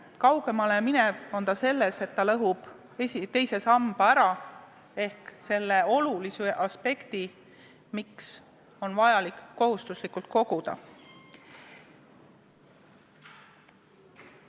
Kaugemale läheb ta selles, et ta lõhub ära teise samba ehk nullib selle olulise aspekti, miks on vajalik kohustuslikult koguda.